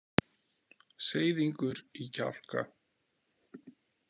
Seiðingur í kjálka.